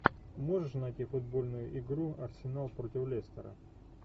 можешь найти футбольную игру арсенал против лестера